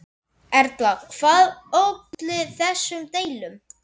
Erla, hvað olli þessum deilum?